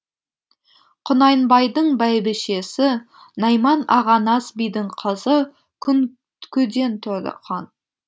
құнанбайдың бәйбішесі найман ағанас бидің қызы күнкеден туған